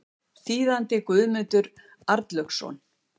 Þýðandi Guðmundur Arnlaugsson.